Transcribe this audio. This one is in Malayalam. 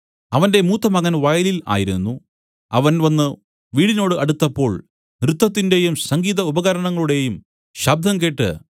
അവന്റെ മൂത്തമകൻ വയലിൽ ആയിരുന്നു അവൻ വന്നു വീടിനോട് അടുത്തപ്പോൾ നൃത്തത്തിന്റെയും സംഗീത ഉപകരണങ്ങളുടെയും ശബ്ദം കേട്ട്